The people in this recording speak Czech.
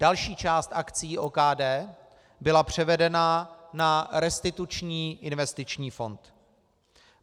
Další část akcií OKD byla převedena na Restituční investiční fond.